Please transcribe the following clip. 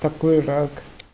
такой рак